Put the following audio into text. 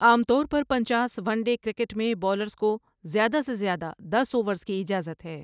عام طور پر پنچاس ون ڈے کرکٹ میں بولرز کو زیادہ سے زیادہ دس اوورز کی اجازت ہے ۔